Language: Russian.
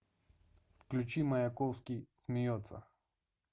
включи маяковский смеется